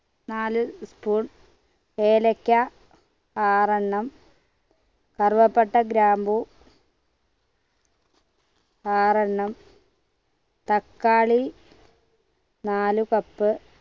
നാല് spoon ഏലയ്ക്ക ആറ് എണ്ണം കറുവാപ്പട്ട ഗ്രാമ്പു ആറെണ്ണം തക്കാളി നാലു cup